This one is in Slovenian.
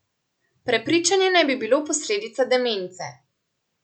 Prepričanje naj bi bilo posledica demence.